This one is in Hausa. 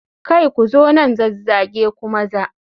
Kai! Ku zo nan zazzage ku maza.